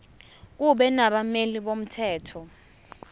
kube nabameli bomthetho